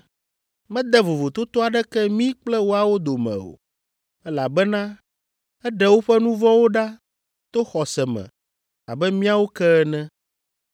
Mede vovototo aɖeke mí kple woawo dome o, elabena eɖe woƒe nu vɔ̃wo ɖa to xɔse me abe míawo ke ene.